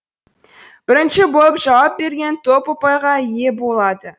бірінші болып жауап берген топ ұпайға ие болады